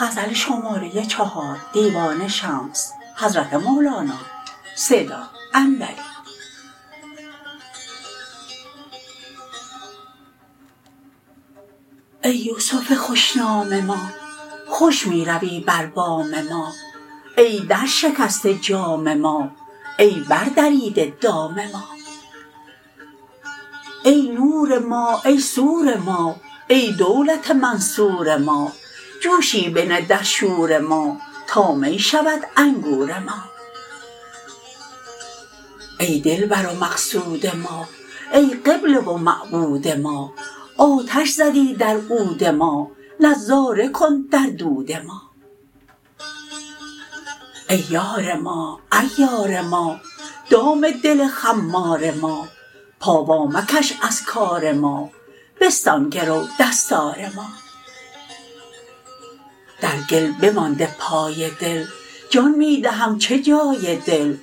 ای یوسف خوش نام ما خوش می روی بر بام ما ای درشکسته جام ما ای بردریده دام ما ای نور ما ای سور ما ای دولت منصور ما جوشی بنه در شور ما تا می شود انگور ما ای دلبر و مقصود ما ای قبله و معبود ما آتش زدی در عود ما نظاره کن در دود ما ای یار ما عیار ما دام دل خمار ما پا وامکش از کار ما بستان گرو دستار ما در گل بمانده پای دل جان می دهم چه جای دل